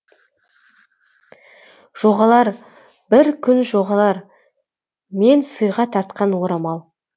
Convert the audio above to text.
жоғалар бір күн жоғалар мен сыйға тартқан орамал